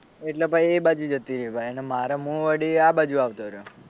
એટલે પછી એ બાજુ જતી રહી ભાઈ અને મારે વળી હું આ બાજુ આવતો રહ્યો